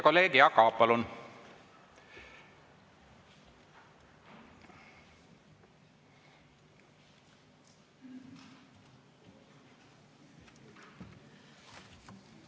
Kolleeg Jaak Aab, palun!